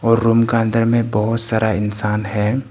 और रूम का अंदर में बहोत सारा इंसान है।